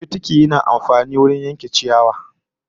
Fitiki yana amfani wajen yanke ciyawa